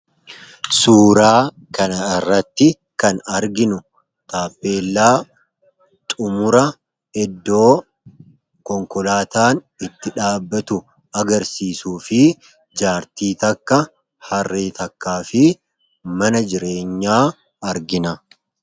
Suuraa kanarratti kan arginu taappeellaa iddoo xumura konkolaataan itti dhaabbatu agarsiisuu fi jaartii takka, Harree takkaa fi mana jireenyaa argina.